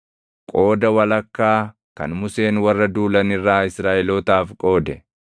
Qooda walakkaa kan Museen warra duulan irraa Israaʼelootaaf qoode: